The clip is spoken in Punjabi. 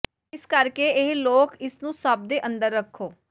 ਇਸ ਕਰਕੇ ਇਹ ਲੋਕ ਇਸ ਨੂੰ ਸਭ ਦੇ ਅੰਦਰ ਰੱਖੋ